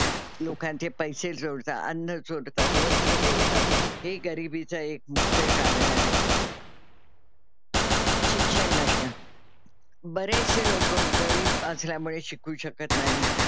लोकांचे पैसे चोरतात, अन्न चोरतात, वस्त्र चोरतात ही गरीबीचं एक मुख्य कारण आहे. शिक्षण नसणं. बरेचसे लोकं गरीब असल्यामुळे शिकू शकत नाहीत.